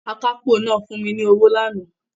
Akápò náà fún mi ní owó lánàá